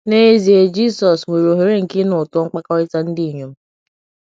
N’ezie, Jisọs nwere ohere nke ịnụ ụtọ mkpakọrịta ndị inyom.